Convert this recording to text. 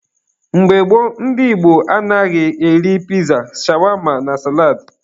Mgbe gboo, ndị Igbo anaghị eri piza, shawama na salad